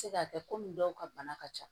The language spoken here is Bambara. Se ka kɛ komi dɔw ka bana ka ca